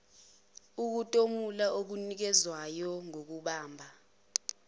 ukutomula okunikezwayo ngokubamba